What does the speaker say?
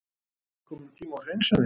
Er kominn tími á hreinsanir?